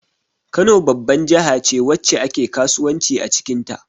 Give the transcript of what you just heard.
Kano babban jahace wacce ake kasuwanci acikin ta